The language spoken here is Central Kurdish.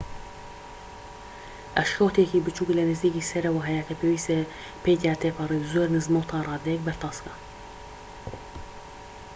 ئەشکەوتێکی بچووک لە نزیکی سەرەوە هەیە کە پێویستە پێیدا تێپەڕیت زۆر نزمە و تا ڕادەیەک بەرتەسکە